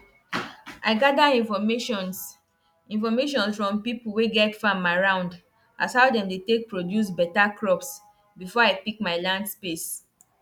if the breed get wahala body you gats give am better house and clean water every day or e no go last.